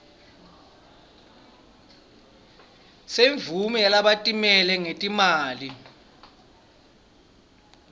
semvumo yalabatimele ngetimali